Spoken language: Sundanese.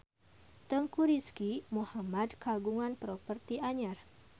Teuku Rizky Muhammad kagungan properti anyar